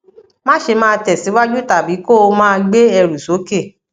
má ṣe máa tẹsíwájú tàbí kó o máa gbé ẹrù sókè